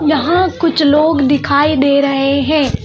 यहां पर कुछ लोग दिखाई दे रहे हैं।